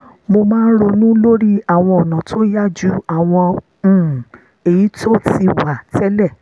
mo máa ń ronú lórí àwọn ọ̀nà tó yá ju àwọn um èyí tó ti wà tẹ́lẹ̀